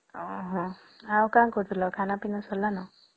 ଓ ହଁ ଆଉ କଁ କରୁଥିଲା ଖାନା ପୀନା ସାରିଲେନା